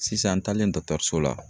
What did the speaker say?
Sisan n taalen so la